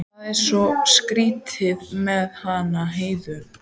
Það var svo skrýtið með hana Heiðu.